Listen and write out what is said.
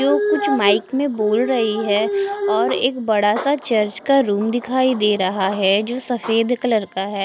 जो कुछ माइक में बोल रही है और एक बड़ा सा चर्च का रूम दिखाई दे रहा है जो सफेद कलर का है।